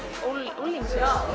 unglinga